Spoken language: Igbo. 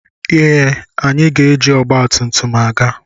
Yes! We will go with the motorcycle.